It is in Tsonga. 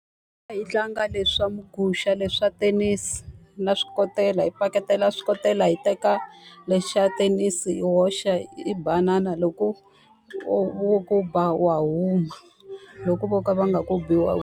A hi tlanga leswa muguxa leswi swa thenisi, na swikotela, hi paketela swikotela, hi teka lexi xa thenisi hi hoxa, hi banana. Loko wo ku ba wa huma, loko vo ka va nga ku bi wa .